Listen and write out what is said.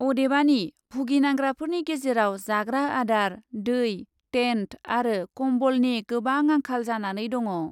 अदेबानि भुगिनांग्राफोरनि गेजेराव जाग्रा आदार, दै, टेन्ट अरो कम्बलनि गोबां आंखाल जानानै दङ।।